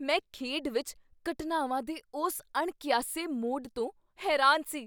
ਮੈਂ ਖੇਡ ਵਿੱਚ ਘਟਨਾਵਾਂ ਦੇ ਉਸ ਅਣਕਿਆਸੇ ਮੋਡ਼ ਤੋਂ ਹੈਰਾਨ ਸੀ।